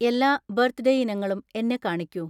എല്ലാ ബർത്ഡേ ഇനങ്ങളും എന്നെ കാണിക്കൂ.